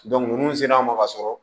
ninnu sera an ma ka sɔrɔ